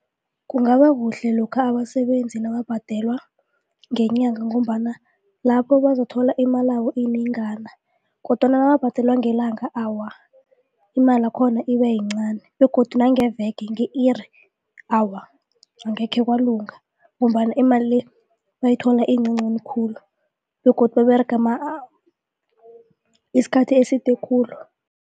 Kungaba kuhle lokha abasebenzi nababhadelwa ngenyanga ngombana lapho bazakuthola imalabo iyinengana. Kodwana nababhadelwe ngelanga awa imali yakhona ibayincani begodu nangeveke nge-iri awa angekhe kwalunga. Ngombana imali le bayithola iyincancani khulu begodu baberega isikhathi eside khulu.